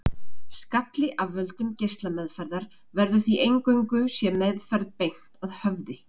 Skalli af völdum geislameðferðar verður því eingöngu sé meðferð beint að höfði.